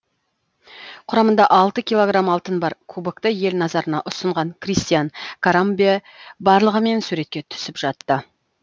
құрамында алты килограмм алтын бар кубокты ел назарына ұсынған кристиан карамбе барлығымен суретке түсіп жатты